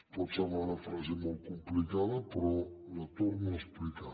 pot semblar una frase molt complicada però la torno a explicar